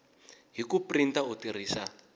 hi ku printa u tirhisa